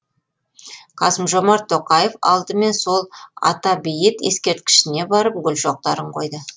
қасым жомарт тоқаев алдымен сол ата бейіт ескерткішіне барып гүл шоқтарын қойды